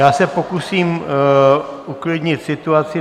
Já se pokusím uklidnit situaci.